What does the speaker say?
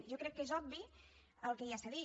jo crec que és obvi el que ja s’ha dit